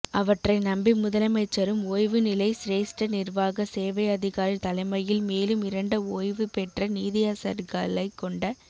அவற்றை நம்பி முதலமைச்சரும் ஓய்வு நிலை சிரேஸ்ட நிர்வாக சேவை அதிகாரி தலைமையில் மேலும் இரண்ட ஓய்வுபெற்ற நீதியரசர்களைக் கொண்ட